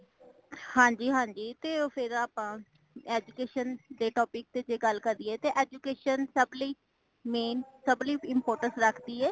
ਹਾਂਜੀ ,ਹਾਂਜੀ ਤੇ ਉਹ ਫੇਰ ਆਪਾ education ਦੇ topic ਤੇ ਗੱਲ ਕਰੀਏ ਤੇ education ਸਬ ਲਈ main ਸਬ ਲਈ importance ਰੱਖਦੀ ਏ